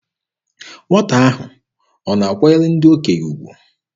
Nwata ahụ ọ na-akwanyere ndị okenye ugwu?